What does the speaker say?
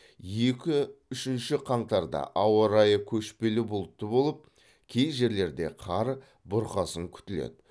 екі үшінші қаңтарда ауа райы көшпелі бұлтты болып кей жерлерде қар бұрқасын күтіледі